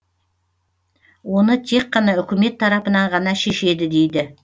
оны тек қана үкімет тарапынан ғана шешеді дейді